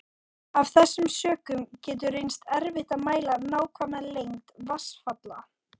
Af þessum sökum getur reynst erfitt að mæla nákvæma lengd vatnsfalla.